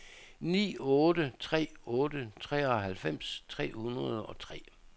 ni otte tre otte treoghalvfems tre hundrede og tre